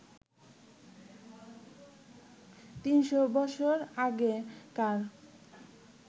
তিনশো বছর আগেকার